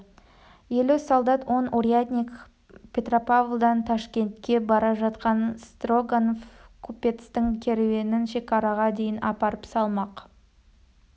елу солдат он урядник петропавлдан ташкентке бара жатқан строганов купецтің керуенін шекараға дейін апарып салмақ